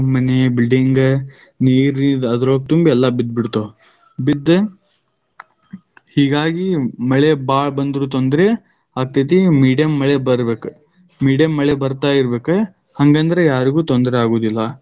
ಮನೆ, building ನೀರಿದ ಅದ ತುಂಬಿ, ಎಲ್ಲಾ ಬಿದ್ದ ಬಿಡ್ತಾವ್ , ಬಿದ್ದ ಹೀಗಾಗಿ ಮಳೆ ಬಾಳ್ ಬಂದ್ರು ತೊಂದರೆ ಆಗ್ತೈತಿ, medium ಮಳೆ ಬರ್ಬೇಕ. medium ಮಳೆ ಬತಾ೯ ಇರಬೇಕ. ಹಂಗಂದ್ರ ಯಾರಿಗೂ ತೊಂದರೆ ಆಗುವುದಿಲ್ಲ.